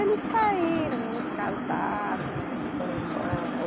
Eles saíram, uns casaram, né, foram embora. Ô